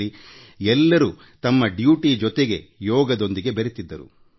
ಪ್ರತಿಯೊಬ್ಬರೂ ತಮ್ಮ ಕರ್ತವ್ಯದ ಜೊತೆಗೆ ಯೋಗವನ್ನು ತಮ್ಮ ಬದುಕಿನ ಭಾಗವಾಗಿ ಮಾಡಿಕೊಂಡಿದ್ದರು